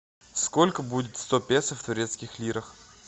сколько будет сто песо в турецких лирах